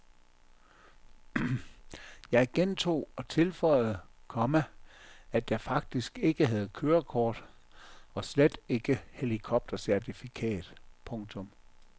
Jeg gentog og tilføjede, komma at jeg faktisk ikke havde kørekort og slet ikke helikoptercertifikat. punktum